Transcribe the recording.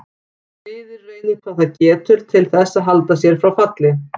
Liðið reynir hvað það getur til þess að halda sér frá falli.